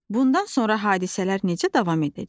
Bundan sonra hadisələr necə davam edəcək?